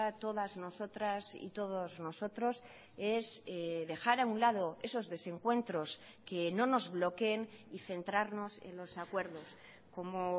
todas nosotras y todos nosotros es dejar a un lado esos desencuentros que no nos bloqueen y centrarnos en los acuerdos como